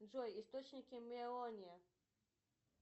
джой источники мелония